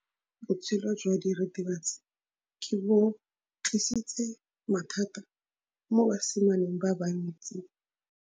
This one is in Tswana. Botshelo jwa diritibatsi ke bo tlisitse mathata mo basimaneng ba bantsi.